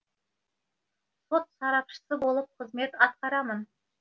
сот сарапшысы болып қызмет атқарамын